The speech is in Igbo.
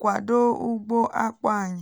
kwado ugbo akpụ anyị